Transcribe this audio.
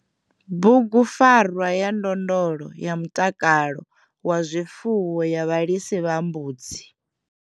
Bugupfarwa ya ndondolo ya mutakalo wa zwifuwo ya vhalisa vha mbudzi.